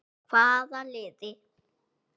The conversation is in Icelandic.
Hvaða liði?